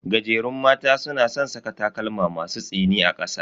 Gajerun mata suna san saka takalma masu tsini a kasa.